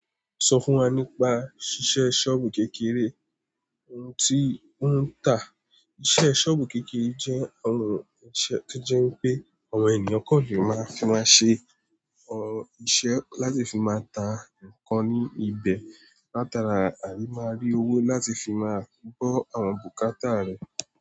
Sọ fún wa nípa ṣíṣe sọ́ọ̀bù kékeré, ohun tí ó ń tà. Íṣe sọ́ọ̀bù kékeré jẹ́ ohun ìṣe tó jẹ́ pé àwọn ènìyàn kanlé máa fi máa ṣe ohun iṣẹ́ láti fi máa tà nǹkan ní ibẹ̀ látara àrímáàrí owó láti fi máa kó àwọn bùkátà rẹ̀